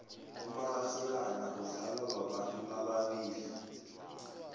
umararhelana udlalwa babantu ababili